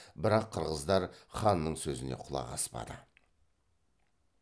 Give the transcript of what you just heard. бірақ қырғыздар ханның сөзіне құлақ аспады